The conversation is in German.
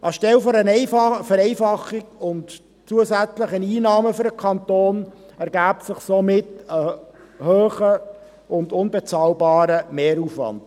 Anstelle einer Vereinfachung und zusätzlicher Einnahmen für den Kanton ergäbe sich somit ein hoher und unbezahlbarer Mehraufwand.